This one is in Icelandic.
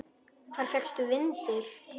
Hvar fékkstu vindil?